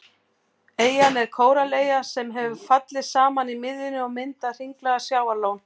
Eyjan er kórallaeyja sem hefur fallið saman í miðjunni og myndað hringlaga sjávarlón.